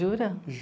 Jura?